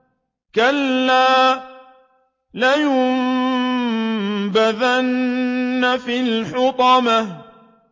كَلَّا ۖ لَيُنبَذَنَّ فِي الْحُطَمَةِ